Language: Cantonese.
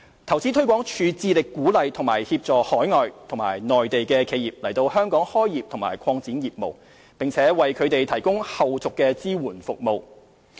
投資推廣署致力鼓勵及協助海外及內地的企業來港開業或擴展業務，並為它們提供後續支援服務。